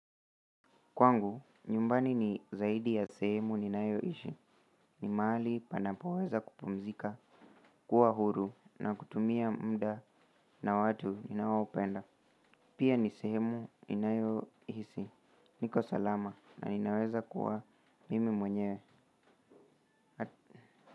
Kwangu, nyumbani ni zaidi ya sehemu ninayo ishi. Ni mahali panapoweza kupumzika, kuwa huru na kutumia mda na watu inaopenda. Pia ni sehemu ni nayo ishi. Niko salama na ninaweza kuwa mimi mwenyewe.